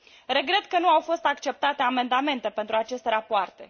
Regret că nu au fost acceptate amendamente pentru aceste rapoarte.